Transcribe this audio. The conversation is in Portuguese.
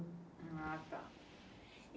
Ah, tá.